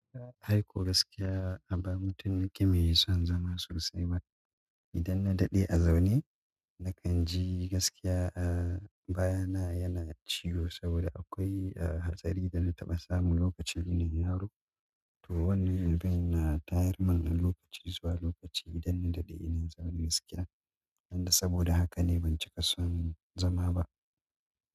Gaskiya a baya mutum nake mai ba mai son zama sosai ba. Idan na daɗe a zaune nakan ji gaskiya ahh bayana yana mun ciwo saboda akwai hatsari da na taɓa samu lokaci ina yaro. To wannan na tayar mani lokaci zuwa lokaci idan na daɗe ina zaune gaskiya. Saboda haka ne ban cika son zama ba.